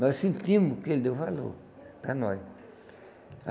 Nós sentimos que ele deu valor para nós.